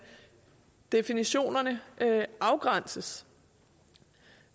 definitionerne afgrænses